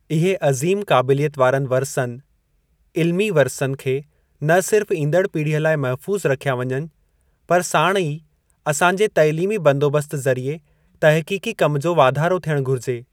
इहे अज़ीम काबिलियत वारनि वरिसनि, इल्मी वरिसनि खे न सिर्फ ईंदड़ पीढ़ीअ लाइ महफूज़ रखिया वञनि, पर साणु ई असांजे तइलीमी बंदोबस्त ज़रीए तहक़ीक़ी कम जो वाधारो थियणु घुरिजे।